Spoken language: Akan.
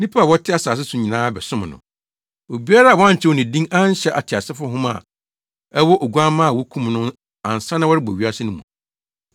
Nnipa a wɔte asase so nyinaa bɛsom no: obiara a wɔankyerɛw ne din anhyɛ ateasefo nhoma a ɛwɔ Oguamma a wokum no ansa na wɔrebɔ wiase no mu.